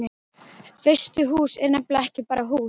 Veistu, hús er nefnilega ekki bara hús.